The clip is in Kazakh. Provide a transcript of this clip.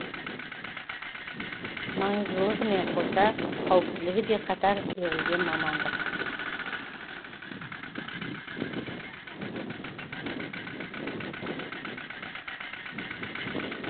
маңыздылығымен қоса қауіптілігі де қатар өрілген мамандық